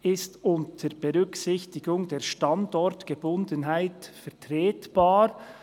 «ist unter Berücksichtigung der Standortgebundenheit vertretbar».